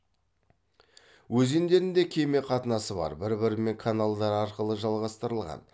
өзендерінде кеме қатынасы бар бір бірімен каналдар арқылы жалғастырылған